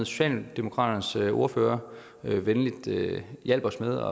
socialdemokratiets ordfører venligt hjalp os med